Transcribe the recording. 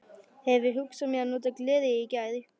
Hefi hugsað mér að nota glerið í þær.